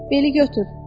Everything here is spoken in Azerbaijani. Beli götür.